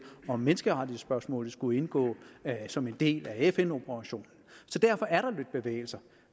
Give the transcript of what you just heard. om menneskerettighedsspørgsmålet skulle indgå som en del af fn operationen så derfor er der lidt bevægelser